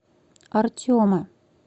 артема